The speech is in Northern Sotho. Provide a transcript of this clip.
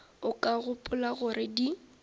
o ka gopola gore di